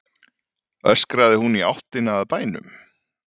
öskraði hún í áttina að bænum.